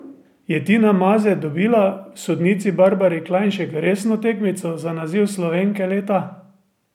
Je Tina Maze dobila v sodnici Barbari Klajnšek resno tekmico za naziv Slovenke leta?